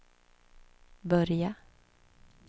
börja